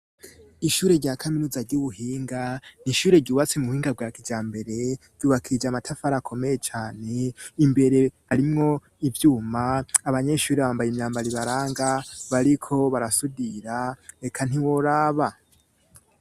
Ishure rya kaminuza ry'ubuhinga n'ishure ryubatse mu buhinga bwa kijambere ryubakirj' amatafar' akomeye cane, imbere arimwo ivyuma abanyeshure bambaye imyambar'ibaranga bariko barasudira eka ntiworaba.